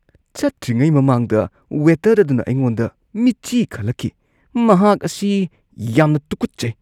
ꯆꯠꯇ꯭ꯔꯤꯉꯩ ꯃꯃꯥꯡꯗ ꯋꯦꯇꯔ ꯑꯗꯨꯅ ꯑꯩꯉꯣꯟꯗ ꯃꯤꯠꯆꯤ ꯈꯠꯂꯛꯈꯤ꯫ ꯃꯍꯥꯛ ꯑꯁꯤ ꯌꯥꯝꯅ ꯇꯨꯀꯠꯆꯩ ꯫